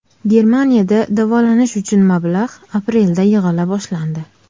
Germaniyada davolanish uchun mablag‘ aprelda yig‘ila boshlandi.